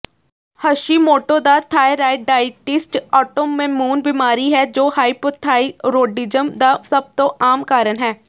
Hashimoto ਦਾ thyroiditis autoimmune ਬਿਮਾਰੀ ਹੈ ਜੋ ਹਾਈਪੋਥਾਈਰੋਡਿਜਮ ਦਾ ਸਭ ਤੋਂ ਆਮ ਕਾਰਨ ਹੈ